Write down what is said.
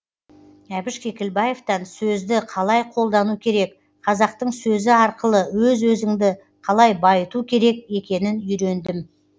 әбіш кекілбаевтан сөзді қалай қолдану керек қазақтың сөзі арқылы өз өзіңді қалай байыту керек екенін үйрендім